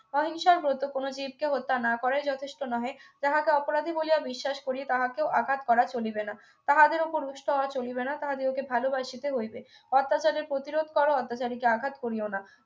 অহিংসার ব্রত কোন জীবকে হত্যা না করাই যথেষ্ট নহে যাহাকে অপরাধী বলিয়া বিশ্বাস করি তাহাকেও আঘাত করা চলিবে না তাহাদের উপর রুষ্ট হওয়া চলিবে না তাহা দিগকে ভালোবাসিতে হইবে অত্যাচারের প্রতিরোধ করো অত্যাচারীকে আঘাত করিয়ো না